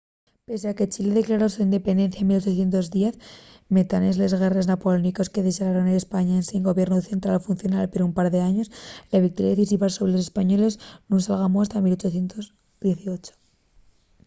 pesie a que chile declaró la so independencia en 1810 metanes les guerres napoleóniques que dexaron españa ensin gobiernu central funcional per un par d’años la victoria decisiva sobre los españoles nun s’algamó hasta 1818